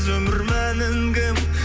өмір мәнін кім